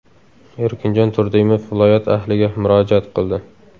Erkinjon Turdimov viloyat ahliga murojaat qildi.